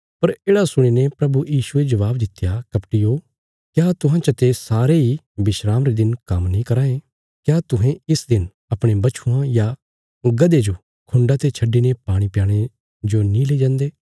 पर येढ़ा सुणीने प्रभु यीशुये जबाब दित्या कपटियो क्या तुहां चाते सारे इ विस्राम रे दिन काम्म नीं कराँ ये क्या तुहें इस दिन अपणे बच्छुआं या गधे जो खुण्डा ते छड्डिने पाणी प्याणे नीं लेई जान्दे